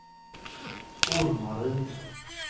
Ormaryd